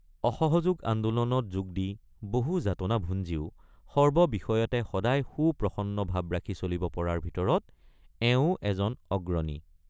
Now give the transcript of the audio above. অসহযোগ আন্দোলনত যোগ দি বহু যাতনা ভুঞ্জিও সৰ্ব বিষয়তে সদায় সুপ্ৰসন্ন ভাব ৰাখি চলিব পৰাৰ ভিতৰৰ এৱোঁ এজন অগ্ৰণী।